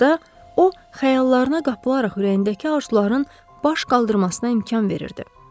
Burda o xəyallarına qapılaraq ürəyindəki arzuların baş qaldırmasına imkan verirdi.